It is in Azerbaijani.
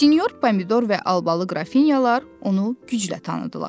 Sinyor Pomidor və Albalı qrafinyalar onu güclə tanıdılar.